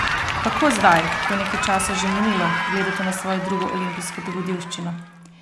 Kako zdaj, ko je nekaj časa že minilo, gledate na svojo drugo olimpijsko dogodivščino?